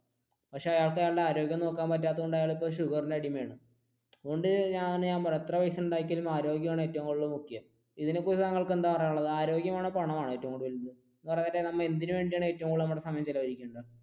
പക്ഷെ അയാൾക്ക് അയാളുടെ ആരോഗ്യം നോക്കാൻ പറ്റാത്ത കൊണ്ട് അയാൾ ഷുഗറിന്റെ അടിമയാണ്. അതുകൊണ്ടാണ് ഞാൻ പറഞ്ഞത് എത്ര പൈസ ഉണ്ടാക്കിയാലും ആരോഗ്യമാണ് ഏറ്റവും കൂടുതൽ മുഖ്യം ഇതിനെ കുറിച്ച് താങ്കൾക് എന്താണ് പറയാനുള്ളത് ആരോഗ്യമാണോ പണമാണോ ഏറ്റവും കൂടുതൽ